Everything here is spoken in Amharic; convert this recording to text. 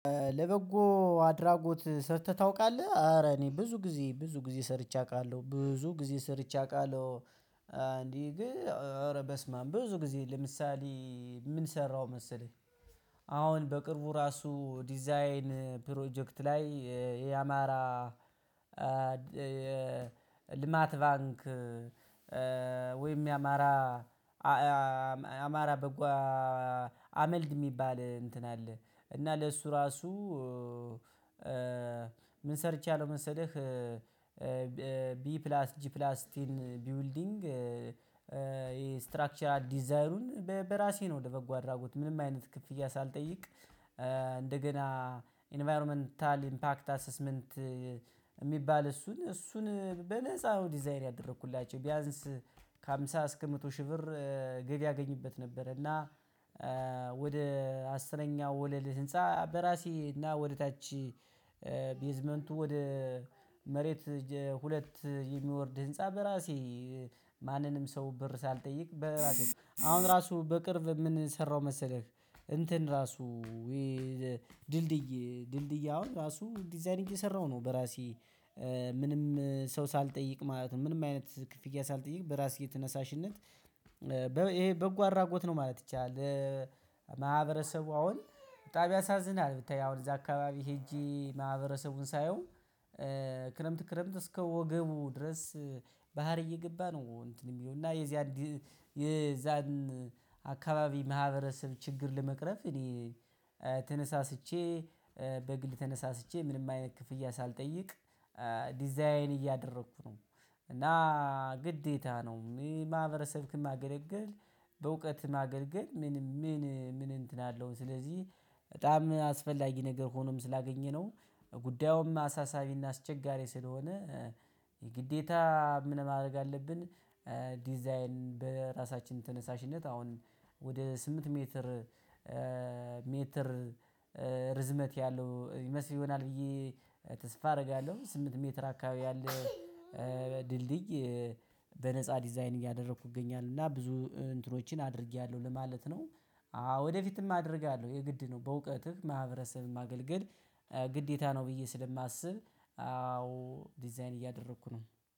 ለበጎ አድራጎት ሰርተህ ታውቃለህ ኧረ እኔ ብዙ ጊዜ ብዙ ጊዜ ሰርቼ አውቃለሁ ብዙ ጊዜ ሰርቼ አውቃለሁ። እንዲህ ግን እረ በስማም ብዙ ጊዜ ለምሳሌ ምን ሰራው መሰለህ? አሁን በቅርቡ ራሱ ዲዛይን ፕሮጀክት ላይ የአማራ የልማት ባንክ ወይም የአማራ አማራ በጎ አመልድ የሚባል እንትን አለ እና ለሱ ራሱ ምን ሰርቼለው መሰለህ? ቢ ፕላስ ጂ ፕላስ ቴን ቢውልዲንግ ስትራክቸራል ዲዛይኑን በራሴ ነው ለበጎ አድራጎት ምንም አይነት ክፍያ ሳልጠይቅ። እንደገና ኢንቫይሮመንታል ኢምፓክት አሰስመንት የሚባል እሱን እሱን በነፃ ነው ዲዛይን ያደረኩላቸው ቢያንስ ከሃምሳ እስከ መቶ ሺህ ብር ገቢ አገኝበት ነበር። እና ወደ አስረኛው ወለል ህንፃ በራሴ እና ወደ ታች ቤዝመንቱ ወደ መሬት ሁለት የሚወርድ ህንፃ በራሴ። ማንንም ሰው ብር ሳልጠይቅ በራሴ አሁን ራሱ በቅርብ ምንሰራው መሰለህ? እንትን ራሱ ውይ ድልድይ ድልድይ አሁን ራሱ ዲዛይን እየሰራሁ ነው በራሴ። ምንም ሰው ሳልጠይቅ ማለት ነው ምንም አይነት ክፍያ ሳልጠይቅ በራስ ተነሳሽነት ይሄ በጎ አድራጎት ነው ማለት ይቻላል። ማህበረሰቡ አሁን በጣም ያሳዝናል ብታይ አሁን እዚያ አካባቢ ሄጄ ማህበረሰቡን ሳየው ክረምት ክረምት እስከ ወገቡ ድረስ ባህር እየገባ ነው። እንትን የሚለው እና የዚያን የዛን አካባቢ ማህበረሰብ ችግር ለመቅረፍ እኔ ተነሳስቼ በግል ተነሳስቼ ምንም አይነት ክፍያ ሳልጠይቅ ዲዛይን እያደረኩ ነው። እና ግዴታ ነው ይሄ ማህበረሰብክን ማገልገል በእውቀት ማገልገል ምን ምን ምን እንትን አለው። ስለዚህ በጣም አስፈላጊ ነገር ሆኖም ስላገኘነው ጉዳዩም አሳሳቢና አስቸጋሪ ስለሆነ የግዴታ ምን ማድረግ አለብን። ዲዛይን በራሳችን ተነሳሽነት አሁን ወደ ስምንት ሜትር ርዝመት ያለው ይመስል ይሆናል ብዬ ተስፋ አደርጋለሁ። ስምንት ሜትር አካባቢ ያለ ድልድይ በነፃ ዲዛይን እያደረኩ እገኛለሁ እና ብዙ እንትኖችን አድርጌያለሁ ለማለት ነው። ወደፊትም አደርጋለሁ የግድ ነው። በእውቀትህ ማህበረሰብን ማገልገል ግዴታ ነው ብዬ ስለማስብ አዎ ዲዛይን እያደረኩ ነው